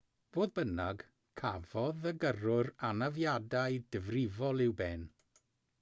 fodd bynnag cafodd y gyrrwr anafiadau difrifol i'w ben